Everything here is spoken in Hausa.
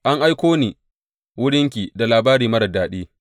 An aiko ni wurinki da labari marar daɗi.